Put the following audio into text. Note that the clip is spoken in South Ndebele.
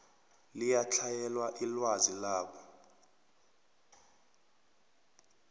liyatlhayela ilwazi labo